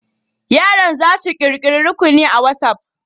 Yaran za su ƙirƙiri rukuni a WatsApp.